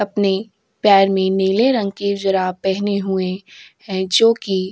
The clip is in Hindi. अपने पैर में नीले रंग के जुराब पहने हुए हैं जोकि --